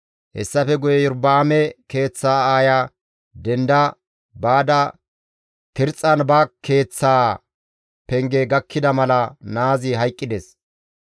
Hessafe guye Iyorba7aame keeththa aaya denda baada Tirxxan ba keeththaa penge gakkida mala naazi hayqqides.